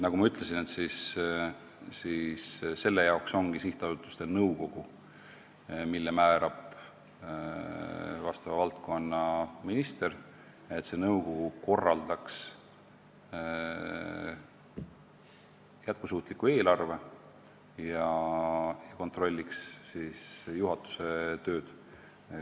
Nagu ma ütlesin, selle jaoks ongi sihtasutusel nõukogu, mille määrab valdkonnaminister, et nõukogu koostaks jätkusuutliku eelarve ja kontrolliks juhatuse tööd.